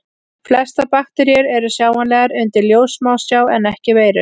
Flestar bakteríur eru sjáanlegar undir ljóssmásjá en ekki veirur.